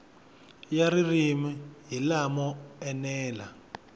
ya ririmi hi lamo enela